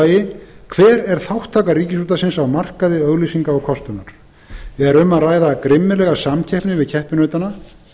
annar hver er þátttaka ríkisútvarpsins á markaði auglýsinga og kostunar er um að ræða grimmilega samkeppni við keppinautana